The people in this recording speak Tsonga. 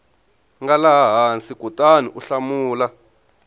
nga laha hansi kutaniu hlamula